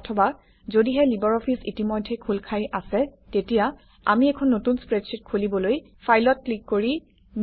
অথবা যদিহে লিবাৰঅফিছ ইতিমধ্যেই খোল খাই আছে তেতিয়া আমি এখন নতুন স্প্ৰেডশ্বিট খুলিবলৈ ফাইলত ক্লিক কৰি